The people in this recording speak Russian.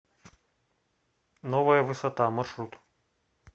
новая высота маршрут